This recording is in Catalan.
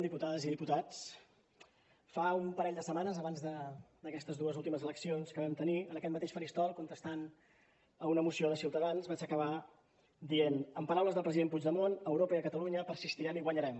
diputades i diputats fa un parell de setmanes abans d’aquestes dues últimes eleccions que vam tenir en aquest mateix faristol contestant a una moció de ciutadans vaig acabar dient amb paraules del president puigdemont a europa i a catalunya persistirem i guanyarem